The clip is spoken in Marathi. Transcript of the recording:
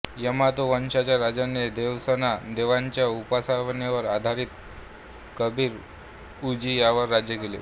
यमातों वंशांच्या राज्याने देवासना देवीच्या उपासनेवर आधारित कबीर उजी यावर राज्य केले